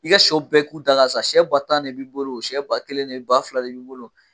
I ka siyɛw bɛɛ k'u da ka sa siyɛ ba tan de b'i bolo wo siyɛ ba kelen de bi ba fila de bi bolo wo.